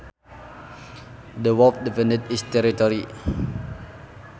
The wolf defended its territory